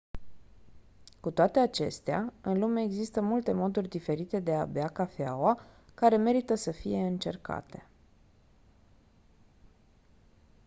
cu toate acestea în lume există multe moduri diferite de a bea cafeaua care merită să fie încercate